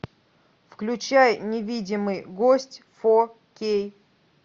включай невидимый гость фо кей